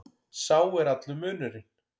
Sá er allur munurinn.